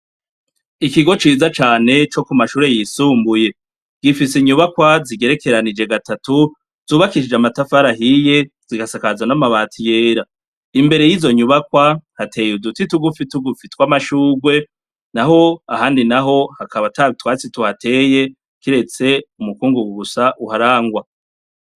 Ikigo ciza cane co kumashure yisumbuye ,gifise inyubakwa zigerekeranije gatatu, zubakishije n'amatafari ahiye zigasakazwa n'amabati yera, imbere y'izo nyubakwa hateye uduti tugufi tugufi tw'amashurwe, naho ahandi naho akaba atatwatsi tuhateye, kiretse umukungungu gusa uharangwa.